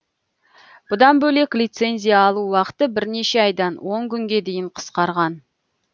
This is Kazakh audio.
бұдан бөлек лицензия алу уақыты бірнеше айдан он күнге дейін қысқарған